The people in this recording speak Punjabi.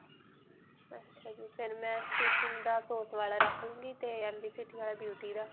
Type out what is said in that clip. ਅੱਛਾ ਜੀ. ਫਿਰ ਮੈਂ stitching ਵਾਲਾ ਰੱਖ ਲੂਂਗੀ ਤੇ beauty ਦਾ.